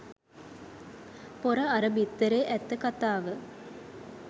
පොර අර බිත්තරේ ඇත්ත කතාව